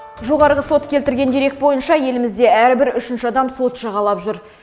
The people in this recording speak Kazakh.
жоғарғы сот келтірген дерек бойынша елімізде әрбір үшінші адам сот жағалап жүр